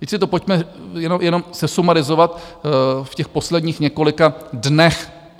Teď si to pojďme jenom sesumarizovat v těch posledních několika dnech.